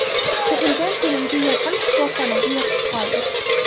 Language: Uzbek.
Tug‘ilgan kunimga yaqin shifoxonaga yotib qoldi.